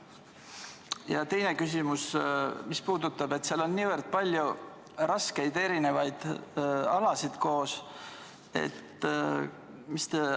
Mu teine küsimus puudutab seda, et seal on palju erinevaid ja raskeid valdkondi koos.